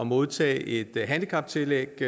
modtage et handicaptillæg